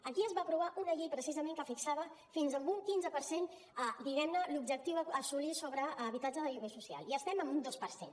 aquí es va aprovar una llei precisament que fixava fins a un quinze per cent diguem ne l’objectiu a assolir sobre habitatge de lloguer social i estem en un dos per cent